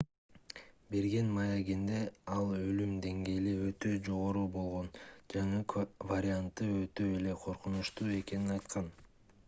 берген маегинде ал өлүм деңгээли өтө жогору болгон жаңы варианты өтө эле коркунучтуу экенин айткан